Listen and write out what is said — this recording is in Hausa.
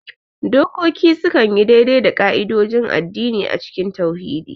Dokoki sukan yi daidai da ƙa'idodin addini a cikin tauhidi.